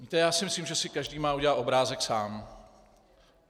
Víte, já si myslím, že si každý má udělat obrázek sám.